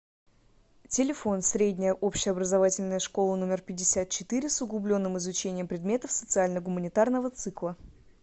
телефон средняя общеобразовательная школа номер пятьдесят четыре с углубленным изучением предметов социально гуманитарного цикла